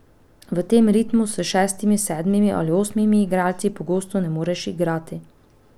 V tem ritmu s šestimi, sedmimi ali osmimi igralci preprosto ne moreš igrati.